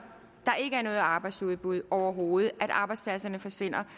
noget arbejdsudbud overhovedet så arbejdspladserne forsvinder